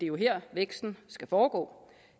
jo her væksten skal foregå